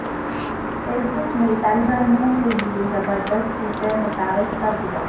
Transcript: face بک نے طالبعلموں کے لیے زبردست فیچر متعارف کرادیا